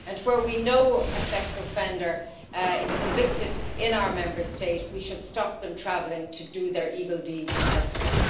Where we know a sex offender is convicted in our Member State, we should stop them traveling to do their evil deeds elsewhere.